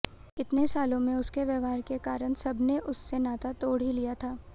इतने सालों में उसके व्यवहार के कारण सबने उस से नाता तोड़ ही लिया था